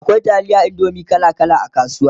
akwai taliyar indomie kala kala a kasuwa